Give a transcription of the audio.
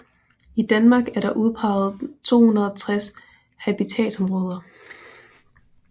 I Danmark er der udpeget 260 habitatområder